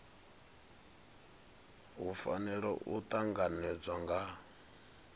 hu fanela u tanganedzwa nga